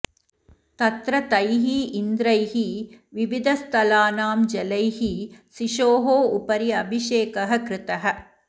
तत्र तैः इन्द्रैः विविधस्थलानां जलैः शिशोः उपरि अभिषेकः कृतः